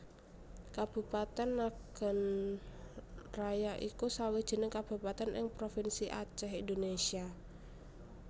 Kabupatèn Nagan Raya iku sawijining kabupatèn ing Provinsi Acèh Indonésia